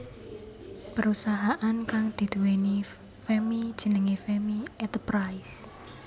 Perusahaan kang dinduwéni Femmy jenenge Femmy Eterprise